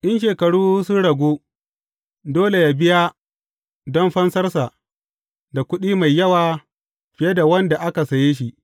In shekaru sun ragu, dole yă biya don fansarsa da kuɗi mai yawa fiye da wanda aka saye shi.